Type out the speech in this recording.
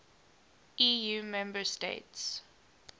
eu member states